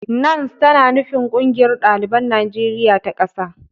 "NANS" tana nufin "Ƙungiyar Ɗaliban Najeriya ta ƙasa".